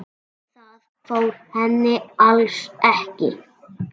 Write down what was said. Það fór henni alls ekki.